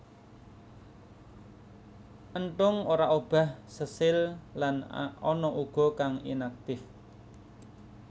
Enthung ora obah sesil lan ana uga kang inaktif